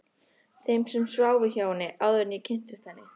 Þeim sem sváfu hjá henni, áður en ég kynntist henni.